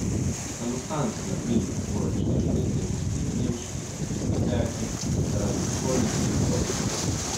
V samostan so, na primer, morali številni irski, nemški, avstrijski kleriki zaradi spolnih prestopkov.